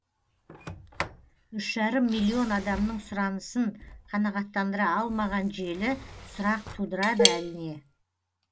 үш жарым миллион адамның сұранысын қанағаттандыра алмаған желі сұрақ тудырады әрине